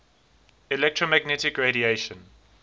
electromagnetic radiation